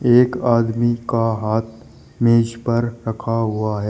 एक आदमी का हाथ मेज पर रखा हुआ है।